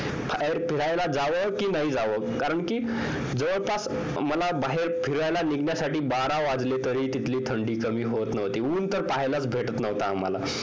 बाहेर फिरायला जावं कि नाही जावं कारण कि जवळपास मला बाहेर फिरायला निघण्यासाठी बारा वाजले तरीही तिथली थंडी कमी होत नव्हती ऊन तर पाहायला च मिळत नव्हतं आम्हाला